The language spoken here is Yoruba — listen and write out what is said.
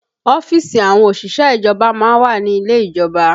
Ọ́fíìsì àwọn òṣìṣẹ́ ìjọba má ń wà ní ilé ìjọba